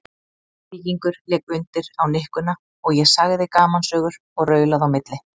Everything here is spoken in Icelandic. Víkingur lék undir á nikkuna og ég sagði gamansögur og raulaði á milli.